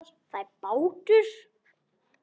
Það er bátur.